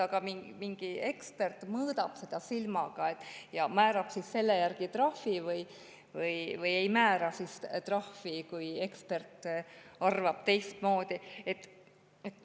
Aga kas te kujutate ette, et mingi ekspert mõõdab seda silmaga ja selle järgi määratakse trahv või ei määrata trahvi, kui ekspert arvab teistmoodi?